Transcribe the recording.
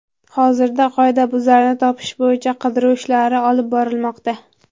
Hozirda qoidabuzarni topish bo‘yicha qidiruv ishlari olib borilmoqda.